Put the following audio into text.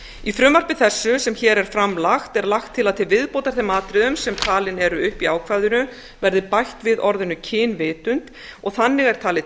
í frumvarpi þessu sem hér er fram lagt er lagt til að til viðbótar þeim atriðum sem talin eru upp í ákvæðinu verði bætt við orðinu kynvitund og þannig er talið